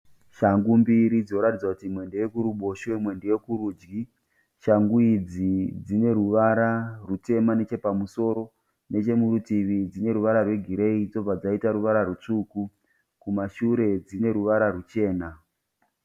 Shangu mbiri dzinoratidza kuti imwe ndeyekuruboshwe imwe ndeyokurudyi. Shangu idzi dzine ruvara rutema nechepamusoro. Nechemuritivi dzine ruvara rwegireyi zobva dzaita ruvara rutsvuku. Kumashure dzine ruvara ruchena.